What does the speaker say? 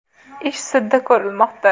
Ish sudda ko‘rilmoqda.